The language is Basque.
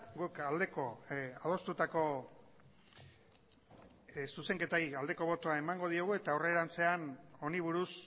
guk aldeko adostutako zuzenketari aldeko botoa emango diogu eta aurrerantzean honi buruz